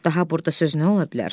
Daha burda söz nə ola bilər?